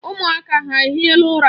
Ụmụaka ha ehiela ụra?